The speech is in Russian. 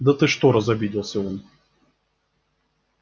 да ты что разобиделся он